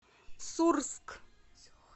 сурск